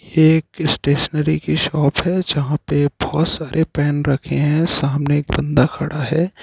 ये एक स्टेशनरी की शॉप है। जहापे बहुत सारे पेन रखे हैं सामने एक बन्दा खड़ा हैं।